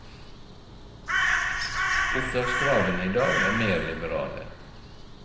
Opptakskravene i dag er mer liberale.